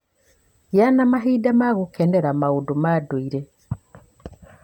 Gĩa na mahinda ma gũkenera maũndũ ma ndũire.